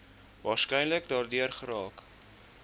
waarskynlik daardeur geraak